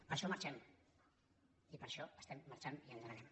per això marxem per això estem marxant i ens n’anem